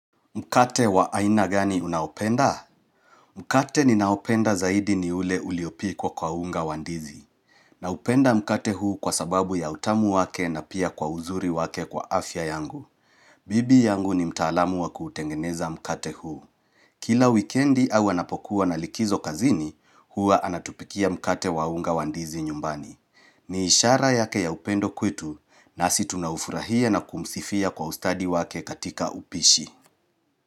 Mkate wa aina gani unaopenda? Mkate ninaopenda zaidi ni ule uliopikwa kwa unga wa ndizi. Naupenda mkate huu kwa sababu ya utamu wake na pia kwa uzuri wake kwa afya yangu. Bibi yangu ni mtaalamu wa kutengeneza mkate huu. Kila wikendi au anapokuwa na likizo kazini, hua anatupikia mkate wa unga wa ndizi nyumbani. Ni ishara yake ya upendo kwetu na si tunahufurahia na kumsifia kwa ustadi wake katika upishi.